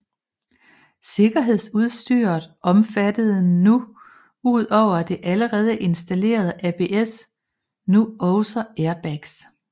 Sikkerhedsudstyret omfattede nu ud over det allerede installerede ABS nu også airbags